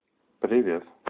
привет